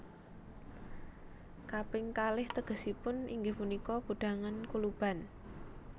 Kaping kalih tegesipun inggih punika gudhangan kuluban